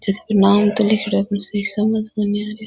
छत पे नाम तो लिख रहा है पर सही समझ में नहीं आ रहे।